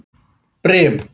Brim